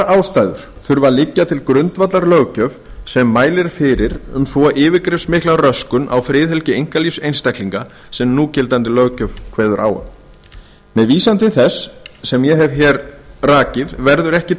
ástæður þurfa að liggja til grundvallar löggjöf sem mælir fyrir um svo yfirgripsmikla röskun á friðhelgi einkalífs einstaklinga sem núgildandi löggjöf kveður á um með vísan til þess sem ég hef hér rakið verður ekki